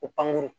Ko pankuru